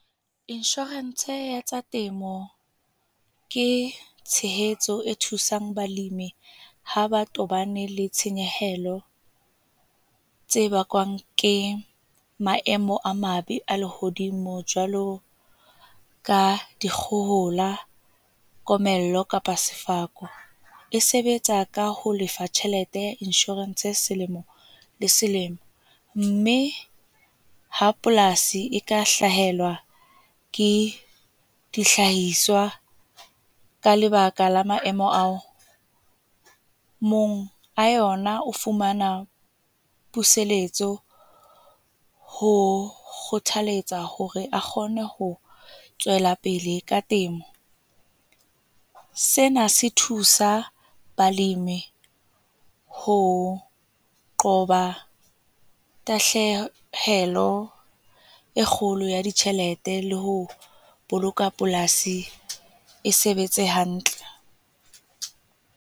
Insurance ya tsa temo ke tshehetso e thusang balemi ha ba tobane le tshenyehelo tse bakwang ke maemo a mabe a lehodimo. Jwalo ka di kgohola, komello kapa sefako. E sebetsa ka ho lefa tjhelete ya insurance selemo le selemo mme ha polasi e ka hlahelwa ke dihlahiswa ka lebaka la maemo ao, monga yona o fumana puseletso ho kgothaletsa hore a kgone ho tswela pele ka temo. Sena se thusa balemi ho qoba tahlehelo e kgolo ya ditjhelete le ho boloka polasi e sebetse hantle.